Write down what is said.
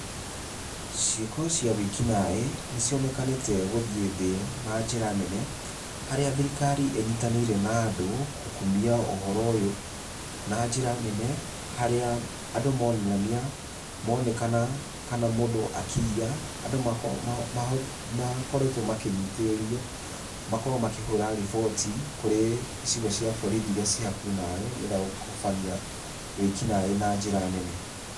Ciĩko cia wĩkinaĩĩ nĩcionekanĩte gũthiĩ thĩ na njĩra nene, harĩa thirikari ĩnyitanĩire na andũ gũkumia ũhoro ũyũ na njĩra nene, harĩa andũ monania moonekana kana mũndũ akĩiya, andũ makoretwo makĩnyitĩrĩrio makorwo makĩhũũra riboti, kũrĩ icigo cia borithi iria ciĩ hakuhĩ nawe nĩgetha gũkũbũbania wĩkinaĩĩ na njĩra nene.